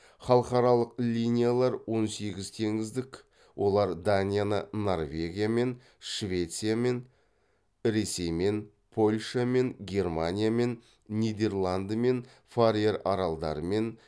халықаралық линилар он сегіз теңіздік олар данияны норвегиямен швециямен ресеймен польшамен германиямен нидерландымен фарер аралдарымен